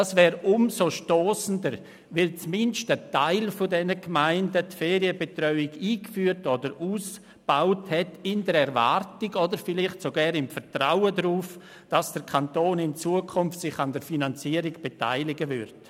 Dies wäre umso stossender, als zumindest ein Teil der Gemeinden eine Ferienbetreuung eingeführt oder ausgebaut hat, in Erwartung oder vielleicht sogar im Vertrauen darauf, dass der Kanton sich künftig an der Finanzierung beteiligen wird.